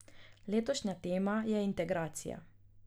Letošnja tema je integracija.